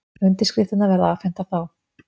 Undirskriftirnar verða afhentar þá